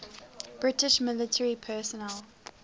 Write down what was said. british military personnel